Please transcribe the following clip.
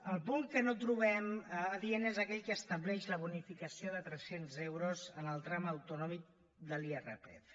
el punt que no trobem adient és aquell que estableix la bonificació de tres cents euros en el tram autonòmic de l’irpf